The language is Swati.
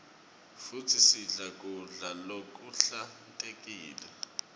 futsi sidle kudla lokuhlantekile